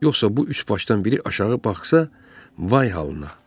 Yoxsa bu üçbaşdan biri aşağı baxsa, vay halına.